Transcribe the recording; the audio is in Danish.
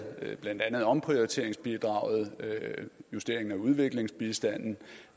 blandt andet omprioriteringsbidraget justeringen af udviklingsbistanden